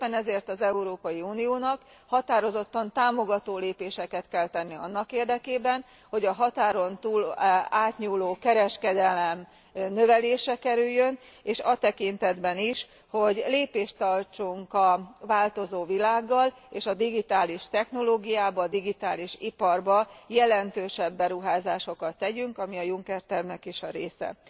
Éppen ezért az Európai Uniónak határozottan támogató lépéseket kell tennie annak érdekében, hogy a határon túl átnyúló kereskedelem növelésre kerüljön, és a tekintetben is, hogy lépést tartsunk a változó világgal, és a digitális technológiába, a digitális iparba jelentősebb beruházásokat tegyünk, ami a Juncker tervnek is a része.